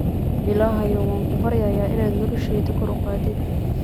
Illahayow wankubaryaya inaad nolosheyda kor uqatid.